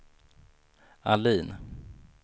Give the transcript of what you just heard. Ahlin